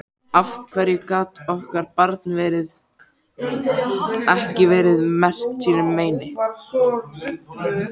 Af hverju gat okkar barn ekki verið merkt sínu meini?